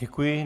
Děkuji.